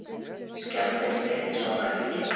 Skjálftinn stytti sólarhringinn